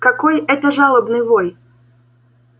какой это жалобный вой